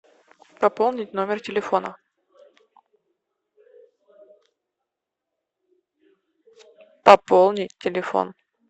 пополнить номер телефона пополнить телефон